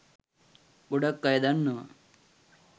ගොඩක් අය දන්නවා